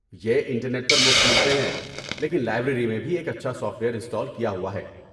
یہ انٹرنیٹ پر مفت ملتے ہیں، لیکن لائبریری میں بھی ایک اچھا سافٹ ویئر انسٹال کیا ہوا ہے۔